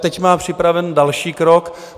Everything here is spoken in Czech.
Teď má připravený další krok.